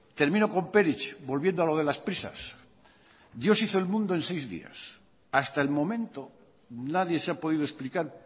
termino con perich volviendo a lo de las prisas dios hizo el mundo en seis días hasta el momento nadie se ha podido explicar